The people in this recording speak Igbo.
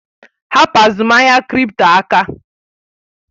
Hapụ azụmahịa kripto aka!